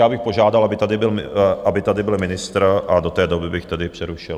Já bych požádal, aby tady byl ministr, a do té doby bych tedy přerušil.